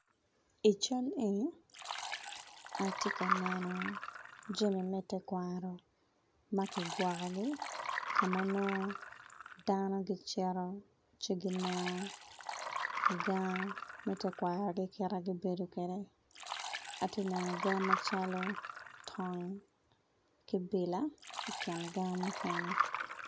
I cal eni atye ka neno jami me tekwaro magi kwoko gi kama nongo dano giceto ci gineno gang me tekwaro gi kita gi bedo kwede atye neno gang macalo tong ki bila i king gange mukene.